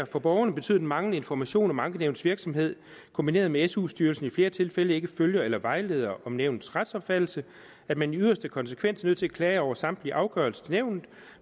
for borgerne betyder den manglende information om ankenævnets virksomhed kombineret med at su styrelsen i flere tilfælde ikke følger eller vejleder om nævnets retsopfattelse at man i yderste konsekvens er nødt til at klage over samtlige afgørelser til nævnet